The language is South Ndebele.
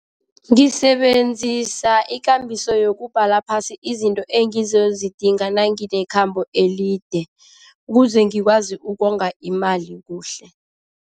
Ngisebenzisa ikambiso yokubhala phasi izinto engazozidinga nanginekhambo elide, ukuze ngikwazi ukonga imali kuhle.